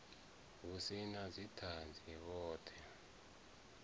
hu si na dzithanzi vhothe